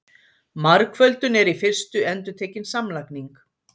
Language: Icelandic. Margföldun er í fyrstu endurtekin samlagning.